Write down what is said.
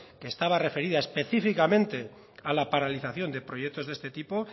que estaba referida específicamente a la paralización de proyectos de este tipo